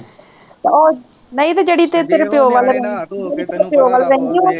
ਉਹ ਨਹੀਂ ਜੇਹੜੀ ਤੇਰੇ ਪੀਓ ਵੱਲ ਰਹਿੰਦੀ ਜੇਹੜੀ ਤੇਰੇ ਪੀਓ ਵੱਲ ਰਹਿੰਦੀ ਉਹ